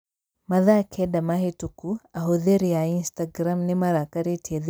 Mathaa kenda mahĩtũku ahũthĩri a Instagram nĩ marakarĩtie thirikari ya Iran.